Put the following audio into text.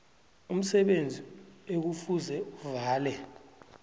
umsebenzi ekufuze avale